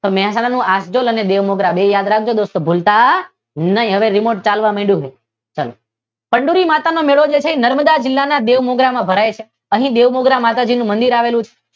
મહેસાણા નું આખડોલ અને મુદ્રા બેઉ યાદ રાખજો. દોસ્તો ભૂલતા નહે હવે રિમોટ ચાલવા માડ્યું છે ચાલો ચંદૂરી માતાનો મેળો છે નર્મદા જિલ્લાના જે બેઉમુદ્રા માં ભરાય છે બેઉમુદ્રા માતાજીનું મંદીર આવેલું છે